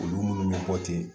Olu munnu bɛ bɔ ten